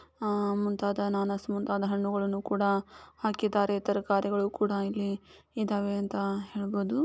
ಆ ಮುಂತಾದ ಹಣ್ಣುಗಳನ್ನು ಕೂಡ ಹಾಕಿದ್ದಾರೆ ತರಕಾರಿಗಳು ಕೂಡ ಇಲ್ಲಿ ಇದ್ದಾವೆ ಅಂತ ಹೇಳ್ಬೋದು.